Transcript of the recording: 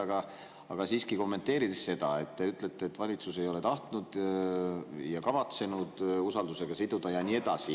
Kuid siiski kommenteerin seda, et te ütlete, et valitsus ei ole tahtnud ega kavatsenud usaldusega siduda ja nii edasi.